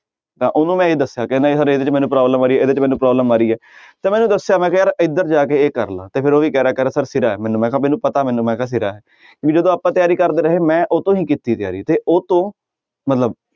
ਤਾਂ ਉਹਨੂੰ ਮੈਂ ਇਉਂ ਦੱਸਿਆ ਕਹਿੰਦਾ ਸਰ ਇਹਦੇ ਵਿੱਚ ਮੈਨੂੰ problem ਆ ਰਹੀ ਹੈ ਇਹਦੇ 'ਚ ਮੈਨੂੰ problem ਆ ਰਹੀ ਹੈ ਤਾਂ ਮੈਂ ਦੱਸਿਆ ਮੈਂ ਕਿਹਾ ਯਾਰ ਇੱਧਰ ਜਾ ਕੇ ਇਹ ਕਰ ਲਾ ਤੇ ਫਿਰ ਉਹ ਵੀ ਕਹਿ ਰਿਹਾ ਕਹਿ ਰਿਹਾ ਸਰ ਸਿਰਾ ਹੈ ਮੈਨੂੰ ਮੈਂ ਕਿਹਾ ਮੈਨੂੰ ਪਤਾ ਮੈਨੂੰ ਵੀ ਜਦੋਂ ਆਪਾਂ ਤਿਆਰੀ ਕਰਦੇ ਰਹੇ ਮੈਂ ਉਹ ਤੋਂ ਕੀਤੀ ਤਿਆਰੀ ਤੇ ਉਹ ਤੋਂ ਮਤਲਬ